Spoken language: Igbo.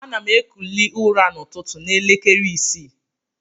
Anam ekuli ura na ụtụ na elekere isi.